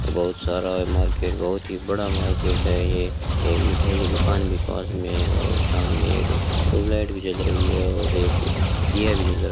और बहुत सारा मार्केट बहुत ही बड़ा मार्केट है ये एक मिठाई की दुकान भी पास मे है और सामने एक ट्यूबलाइट भी जल रही है और एक दिया भी जल रहा --